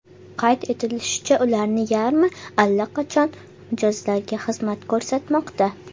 Qayd etilishicha, ularning yarmi allaqachon mijozlarga xizmat ko‘rsatmoqda.